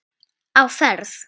Á ferð